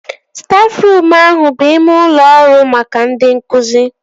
Stafruum ahụ bụ ime ụlọ ọrụ maka ndị nkụzi